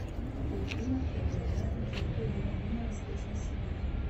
какой климат преобладает на территории района восточной сибири